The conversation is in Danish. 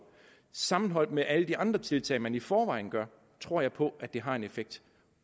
sammenholdt med alle de andre tiltag man i forvejen gør tror jeg på at det har en effekt